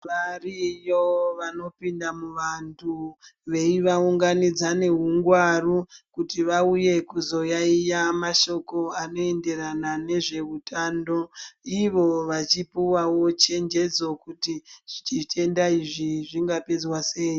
Variyo vanopinda muvantu veivaunganidza neungwaru kuti vauye kuzoyaiya mashoko anoenderana nezveutano. Ivo vachipuwawo chenjedzo kuti zvitenda izvi zvingapedzwa sei.